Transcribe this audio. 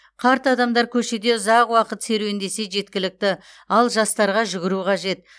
қарт адамдар көшеде ұзақ уақыт серуендесе жеткілікті ал жастарға жүгіру қажет